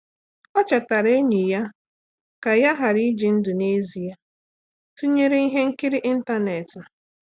Ọ́ chètàrà ényì ya kà yá ghara íjí ndụ́ n’ezie tụnyere ihe nkiri n’ị́ntánétị̀.